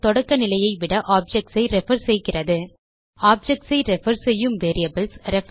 தொடக்க நிலையை விட ஆப்ஜெக்ட்ஸ் ஐ ரெஃபர் செய்கிறது objectsஐ ரெஃபர் செய்யும் வேரியபிள்ஸ்